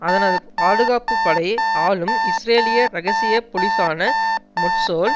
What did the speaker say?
அதனது பாதுகாப்புபடை ஆலும் இஸ்ரேலிய இரகசிய பொலிசான மொட்சோல்